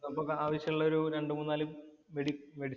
ആവശ്യമുള്ള ഒരു രണ്ടു മൂന്നാല് മെഡിസിന്‍സ്